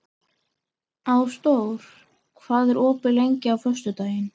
Ásdór, hvað er opið lengi á föstudaginn?